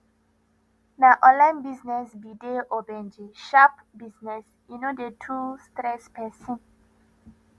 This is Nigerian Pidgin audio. na online business be de ogbenge sharp business e no dey too stress pesin